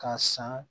K'a san